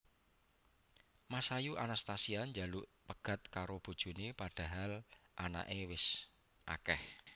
Masayu Anastasia njaluk pegat karo bojone padahal anake wes akeh